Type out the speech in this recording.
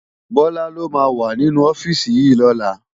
Bola ló má wá ninú òfisi yi lòlá